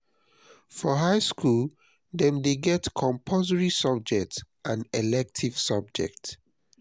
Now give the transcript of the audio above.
for high school dem de get compulsory subjects and elective subjects